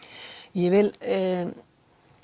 ég vil